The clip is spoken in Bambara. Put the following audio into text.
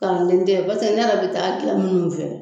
Kalandɛn tɛ paseke ne yɛrɛ bɛ taga gilan minnu fɛ